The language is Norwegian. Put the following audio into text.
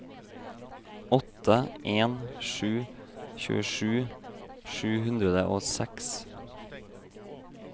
åtte en sju sju tjuesju sju hundre og seks